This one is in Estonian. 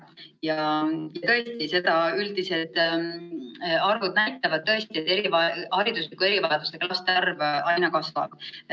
Ja tõesti, seda üldised arvud näitavad, et hariduslike erivajadustega laste arv aina kasvab.